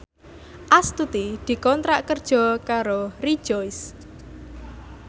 Astuti dikontrak kerja karo Rejoice